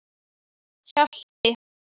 Hjalti